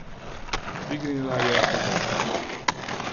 Dvignila je fotoaparat.